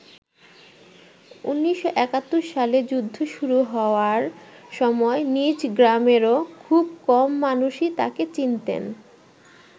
১৯৭১ সালে যুদ্ধ শুরু হওয়ার সময় নিজ গ্রামেরও খুব কম মানুষই তাকে চিনতেন।